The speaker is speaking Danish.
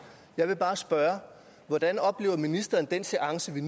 jeg vil bare spørge hvordan oplever ministeren den seance vi